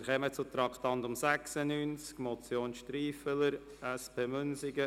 Wir kommen zum Traktandum 96, der Motion Striffeler, SP, Münsingen: